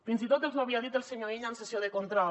fins i tot els ho havia dit el senyor illa en sessió de control